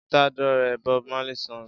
Je t'adore Bob Marley's song